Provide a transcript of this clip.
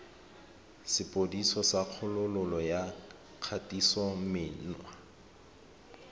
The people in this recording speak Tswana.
sepodisi sa kgololo ya kgatisomenwa